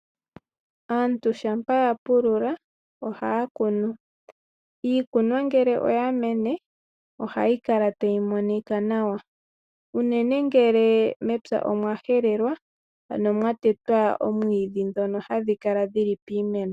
Aantu uuna ya pulula oha ya kunu. Iikunomwa ngele oya mene oha yi kala tayi monika nawa unene ngele mepya omwa helelwa ano mwa tetwa omwiidhi ngono hagu kala guli piimeno.